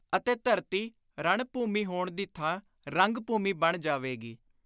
ਅਤੇ ਧਰਤੀ, ਰਣ-ਭੁਮੀ ਹੋਣ ਦੀ ਥਾਂ ਰੰਗ-ਭੂਮੀ ਬਣ ਜਾਵੇਗੀ;